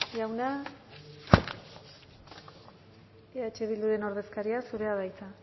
jauna eh bilduren ordezkaria zurea da hitza